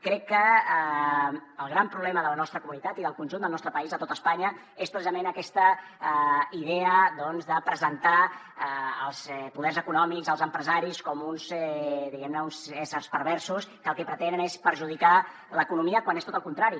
crec que el gran problema de la nostra comunitat i del conjunt del nostre país de tot espanya és precisament aquesta idea de presentar els poders econòmics els empresaris com uns diguem ne éssers perversos que el que pretenen és perjudicar l’economia quan és tot al contrari